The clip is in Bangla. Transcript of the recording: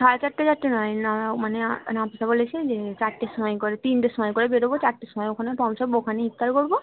সাড়ে চারটে চারটে না মানে নাফিসা বলেছে যে চার টের সময় করে তিনটের সময় করে বেরোবো চার টের সময় ওখানে পৌঁছবো ওখানে ইফতার করবো